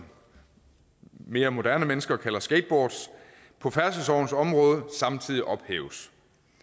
mere moderne mennesker kalder skateboards på færdselslovens område samtidig ophæves